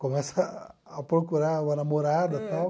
Começa a procurar uma namorada tal.